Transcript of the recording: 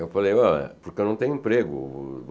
Eu falei, olha, porque eu não tenho emprego.